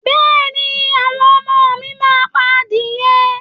Bẹ́ẹ̀ ni, àwọn ọmọ mi máa pa adìẹ